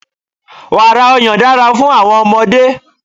Wàrà ọyàn dára fún àwọn ọmọdé.